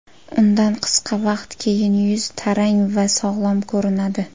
Undan qisqa vaqt keyin yuz tarang va sog‘lom ko‘rinadi.